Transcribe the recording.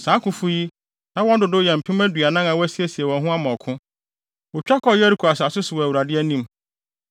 Saa akofo yi, na wɔn dodow bɛyɛ mpem aduanan a wɔasiesie wɔn ho ama ɔko. Wotwa kɔɔ Yeriko asase so wɔ Awurade anim.